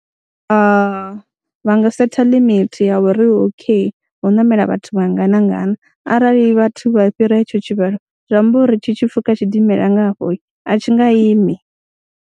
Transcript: Vha nga setha limit ya uri okay hu ṋamela vhathu vhangana ngana arali vhathu vha fhira hetsho tshivhalo zwi amba uri tshi tshipfhuka tshidimela nga hafho a tshi nga imi,